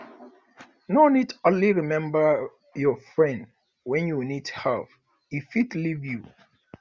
no dey only remember your friend wen you need help e fit leave you